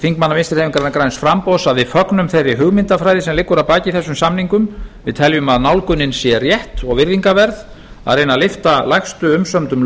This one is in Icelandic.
þingmanna vinstri hreyfingarinnar græns framboðs að við fögnum þeirri hugmyndafræði sem liggur að baki þessum samningum við teljum að nálgunin sé rétt og og virðingarverð að reyna að lyfta lægstu umsömdum